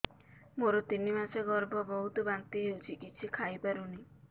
ମୋର ତିନି ମାସ ଗର୍ଭ ବହୁତ ବାନ୍ତି ହେଉଛି କିଛି ଖାଇ ପାରୁନି